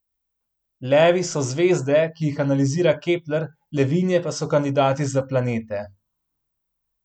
Levi so zvezde, ki jih analizira Kepler, levinje pa so kandidati za planete.